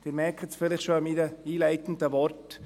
Sie merken es vielleicht schon an meinen einleitenden Worten: